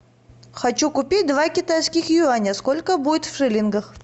хочу купить два китайских юаня сколько будет в шиллингах